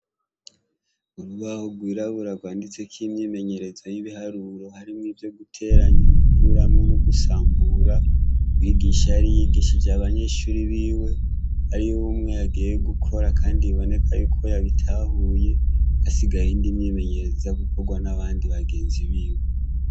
Urubaho rwirabura rwanditseko imyimenyerezo y'ibiharuro harimwo ivyo guteranya, gukuramwo no gusambura, umwigisha yari yigishije abanyeshure biwe, harimwo umwe yagiye gukora kandi biboneka yuko yabitahuye hasigaye iyindi myimenyerezo iza gukorwa n'abandi bagenzi biwe.